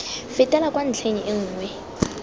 fetela kwa ntlheng e nngwe